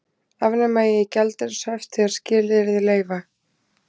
Afnema eigi gjaldeyrishöft þegar skilyrði leyfa